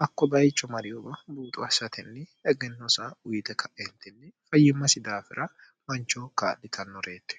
hakko bayicho mariyuba buuxu assatinni egennosa uyite ka'eentinni fayyimmasi daafira mancho kaadhitannoreeti